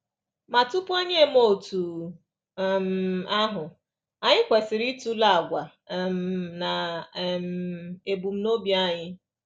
Ma tupu anyị emee otú um ahụ, anyị kwesịrị ịtụle àgwà um na um ebumnobi anyị.